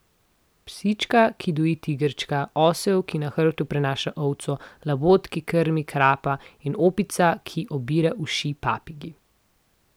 Psička, ki doji tigrčka, osel, ki na hrbtu prenaša ovco, labod, ki krmi krapa in opica, ki obira uši papigi.